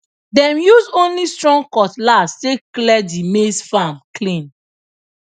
dem use only strong cutlass take clear the maize farm clean